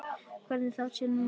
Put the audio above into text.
Hvorki þá né nú.